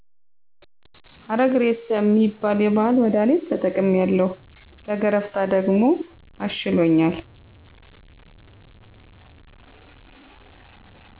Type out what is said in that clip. አረግሬሳ ሚባል የባህል መድሀኔት ተጠቅሜያለው ለገረፍታ ደግሞ አሽሎኛል